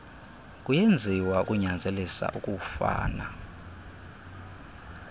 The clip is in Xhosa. kuyenziwa ukunyanzelisa ukufana